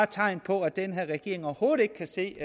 tegn på at den her regering overhovedet ikke kan se